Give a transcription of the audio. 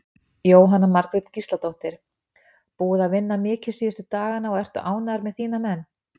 Jóhanna Margrét Gísladóttir: Búið að vinna mikið síðustu dagana og ertu ánægður með þína menn?